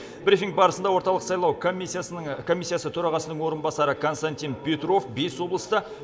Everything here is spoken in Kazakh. брифинг барысында орталық сайлау комиссиясы төрағасының орынбасары константин петров бес облыста